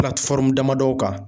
damadɔw kan.